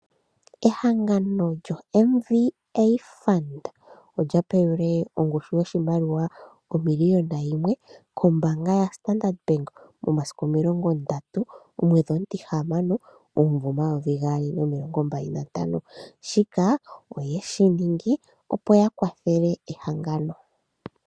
Ehangano lyoMVA Fund olya pelwe ongushu yoshimaliwa shomiliyona yimwe kombaanga yaStandard Bank momasiku omilongo ndatu gomwedhi omutihamano omumvo omayovi gaali niihupe omilongo mbali nantano shika oyeshi ningi opo ya kwathele ehangano.